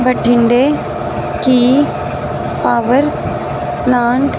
भटिंडे की power plant --